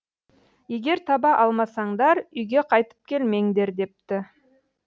егер таба алмасаңдар үйге қайтып келмеңдер депті